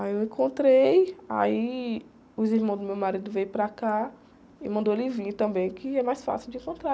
Aí eu encontrei, aí os irmãos do meu marido vieram para cá e mandou ele vir também, que é mais fácil de encontrar.